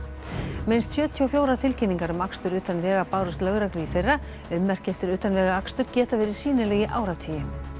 minnst sjötíu og fjórar tilkynningar um akstur utan vega bárust lögreglu í fyrra ummerki eftir utanvegaakstur geta verið sýnileg í áratugi